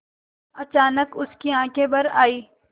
अचानक उसकी आँखें भर आईं